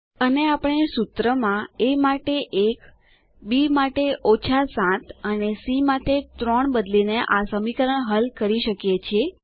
અને આપણે સૂત્રમાં એ માટે 1 બી માટે 7 અને સી માટે 3 બદલીને આ સમીકરણ હલ કરી શકીએ છીએ